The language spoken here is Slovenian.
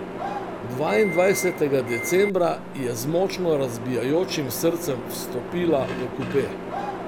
Dvaindvajsetega decembra je z močno razbijajočim srcem vstopila v kupe.